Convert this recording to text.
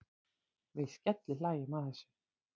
Við skellihlæjum að þessu.